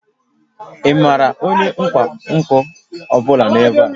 Ị maara onye ọkwá nkà ọ bụla nọ ebe a?